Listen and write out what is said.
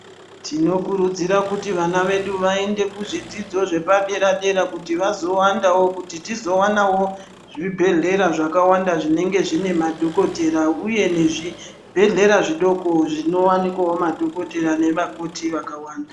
Tinokurudzira kuti vana vedu vaende kuzvidzidzo zvepadera-dera kuti vazowandawo kuti tizowannawo zvibhedhlera zvakawanda zvinenge zvine madhokotera uye nezvibhedhlera zvidoko zvinowanikwawo madhokotera nevakoti vakawanda.